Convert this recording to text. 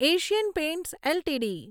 Asian Paints LTD